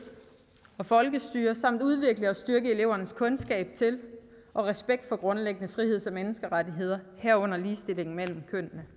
og folkestyre samt udvikle og styrke elevernes kundskaber til og respekt for grundlæggende friheds og menneskerettigheder herunder ligestilling mellem kønnene